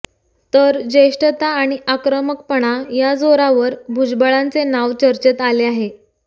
तर ज्येष्ठता आणि आक्रमकपणा या जोरावर भुजबळांचे नाव चर्चेत आले आहे